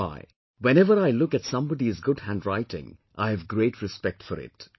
That is why, whenever I look at somebody's good handwriting, I have a great respect for it